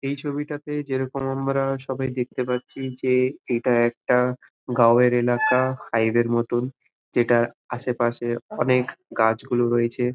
এই ছবিটাতে যেইরকম আমরা সবাই দেখতে পারছি যে এইটা একটা গাউ এর এলাকা ফাইভ এর মতন যেটার আশেপাশে অনকে গাছ গুলি রয়েছে।